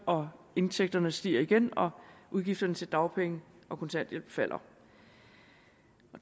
og indtægterne stiger igen og udgifterne til dagpenge og kontanthjælp falder